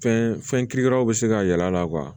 Fɛn fɛn kirikaraw be se ka y'a la